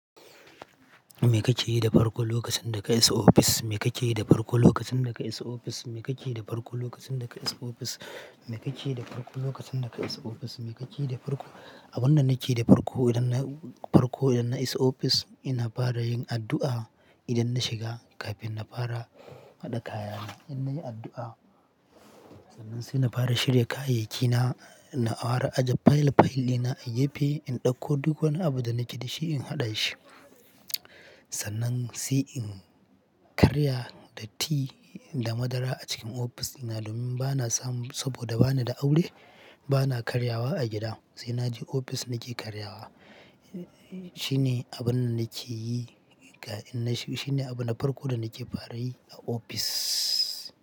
Me kake yi da farko lokacin da ka isa office? Me kake yi da farko lokacin da ka isa office? Me kake yi da farko lokacin da ka isa office? Me kake yi da farko lokacin da ka isa office? Me kake yi da farko Abin da nake yi da farko idan na, farko idan na isa office, ina fara yin addu'a idan na shiga kafin na fara haɗa kayana. Ina yin addu'a, sannan sai na fara shirya kayayyaki na, na fara ajiye file file ɗina a gepe, in ɗauko duk wani abu da nake da shi in haɗa shi. Sannan sai in karya da ti da madara a cikin office, ina domin bana samun saboda bana da aure, bana karyawa a gida. Sai naje ofis nake karyawa. Shine abin da nake yi in na shigo, shine abin na farko da nake fara yi a office.